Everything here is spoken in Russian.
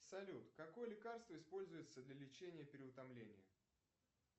салют какое лекарство используется для лечения переутомления